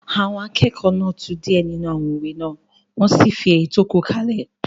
Àwọn akẹ́kọ̀ọ́ náà tú díẹ̀ nínú àwọn òwe náà wọ́n sì fi èyí tó kù kalẹ̀